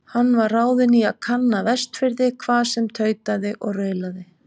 Hann var ráðinn í að kanna Vestfirði, hvað sem tautaði og raulaði.